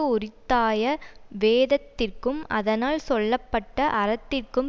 உரித்தாய வேதத்திற்கும் அதனால் சொல்ல பட்ட அறத்திற்கும்